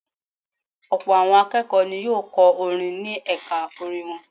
Ọ̀pọ̀ àwọn akẹ́kọ̀ọ́ ni yóò kọ́ orin ní ẹ̀ka orin wọn.